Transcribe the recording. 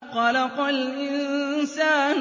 خَلَقَ الْإِنسَانَ